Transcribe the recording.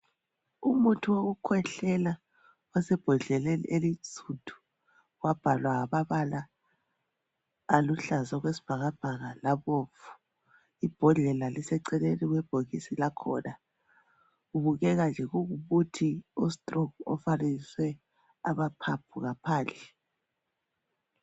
Umuthi wokukhwehlela osebhodleleni elinsundu wabhalwa ngamabala aluhlaza okwesibhakabhaka labomvu, ibhodlela liseceleni kwebhokisi lakhona kubukeka nje kungumuthi o"Strong" ofanekiswe amaphaphu ngaphandle.